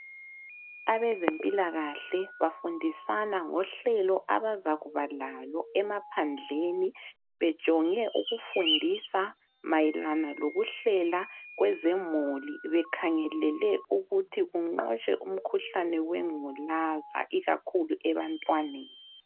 Abezempilakahle bafundisana ngohlelo abazakuba lalo emaphandleni bejonge ukufundisa mayelana lokuhlela kwezemuli bekhangelele ukuthi kunqotshwe umkhuhlane wengculaza ikakhulu ebantwaneni.